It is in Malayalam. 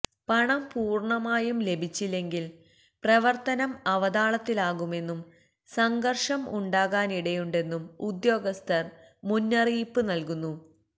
പണം പൂര്ണമായും ലഭിച്ചില്ലെങ്കില് പ്രവര്ത്തനം അവതാളത്തിലാകുമെന്നും സംഘര്ഷം ഉണ്ടാകാനിടയുണ്ടെന്നും ഉദ്യോഗസ്ഥര് മുന്നറിയിപ്പ് നല്കുന്നു